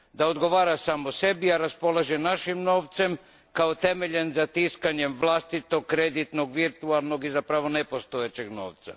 Da odgovara samo sebi, a raspolaže našim novcem kao temeljem za tiskanje vlastitog, kreditnog, virtualnog i zapravo nepostojećeg novca.